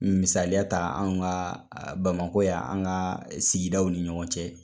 Misaliya ta anw ka Bamakɔ yan , an ka sigidaw ni ɲɔgɔn cɛ.